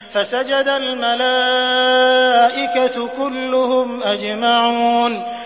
فَسَجَدَ الْمَلَائِكَةُ كُلُّهُمْ أَجْمَعُونَ